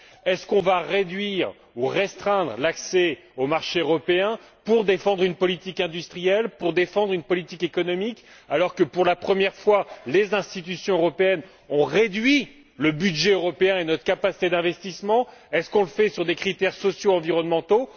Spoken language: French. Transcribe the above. Allons nous réduire ou restreindre l'accès aux marchés européens pour défendre une politique industrielle, pour défendre une politique économique alors que, pour la première fois, les institutions européennes ont réduit le budget européen et notre capacité d'investissement? Le fait on sur des critères sociaux environnementaux?